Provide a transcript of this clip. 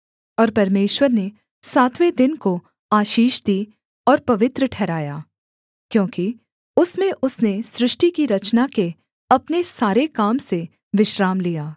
और परमेश्वर ने सातवें दिन को आशीष दी और पवित्र ठहराया क्योंकि उसमें उसने सृष्टि की रचना के अपने सारे काम से विश्राम लिया